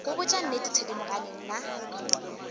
go botša nnete thedimogane nna